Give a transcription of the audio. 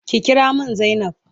Ki kira min zainab.